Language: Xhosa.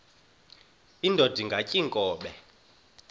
indod ingaty iinkobe